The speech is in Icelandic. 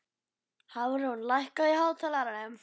Hafrún, lækkaðu í hátalaranum.